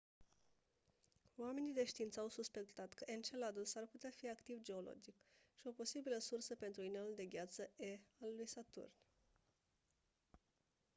oamenii de știință au suspectat că enceladus ar putea fi activ geologic și o posibilă sursă pentru inelul de gheață e al lui saturn